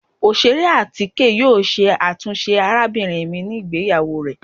Oṣere atike yoo ṣe atunṣe arabinrin mi ni igbeyawo rẹ.